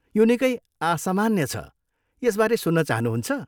यो निकै असामान्य छ, यसबारे सुन्न चाहनुहुन्छ?